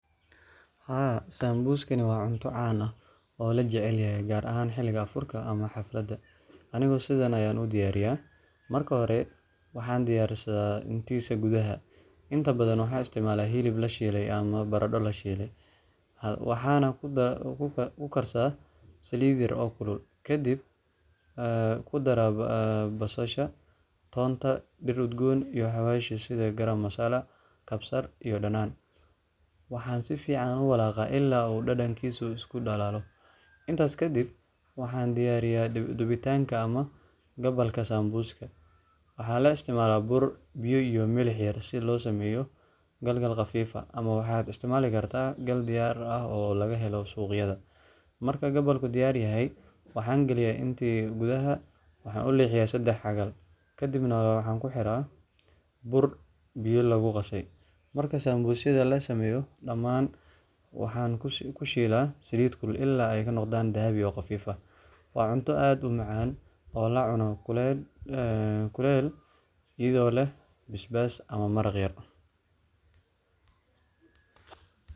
Haa sambuskan wa cunta lacunoh oo lajacelyaho kaar ahan xelika anfurka iyo xafalatha Anika setha Aya u diyariyah marki hori waxan diyarsadah kisaa kuthaa intabathan, waxan isticmalaha helib la sheethe amah barada lashelay, waxan ku karsadah salit yara oo kilu kadib, aa kuadarah basasha tontaa mid udgoon iyo xawashwka setha Kara masala iyo kabsaar iyo danana, waxan sufican u walaqa ila iyo dadangisa iskudalaloh intaas kadib waxa diyariha debitaan amah dhbalka sambuskan. Waxa lo isticmalah buur biya iyo melx yar si losameyoh danga qafifah maxa isticmali kartah gal biya oo lagahelih suqyatha, marka kabalka diyaar yahay waxan kaliyah intee kuthaa waxa u leexiyah sedax xagaal kabdina waxa kixirah buur biya lagu qasay marka sambusa lasmeyoh dhaman waxan kusheelah saalit kulul ila ay kanoqdan Dhabi oo xafif ah wa cunta aad u macan oo lacunoh kulel etho leeh basbass amah maraq yar .